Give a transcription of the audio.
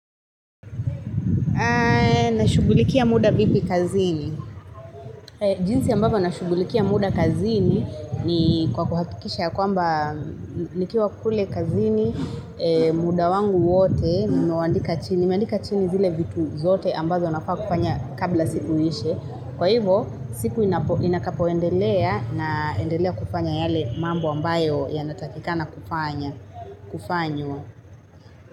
Na shughulikia muda vipi kazini? Jinsi ambavyo na shughulikia muda kazini ni kwa kuhatikisha ya kwamba nikiwa kule kazini, muda wangu wote, ni meuandika chini. Ni meandika chini zile vitu zote ambazo nafaa kufanya kabla siku iishe. Kwa hivo, siku inakapoendelea naendelea kufanya yale mambo ambayo ya natakika na kufanya, kufanywo.